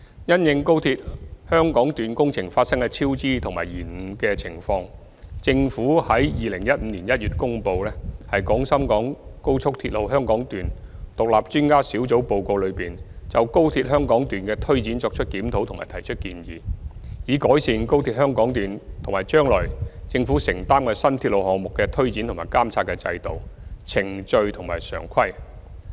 因應高鐵香港段工程發生的超支及延誤情況，政府在2015年1月公布《廣深港高速鐵路香港段獨立專家小組報告》，就高鐵香港段的推展作出檢討及提出建議，以改善高鐵香港段及將來政府承擔的新鐵路項目的推展及監察的制度、程序和常規。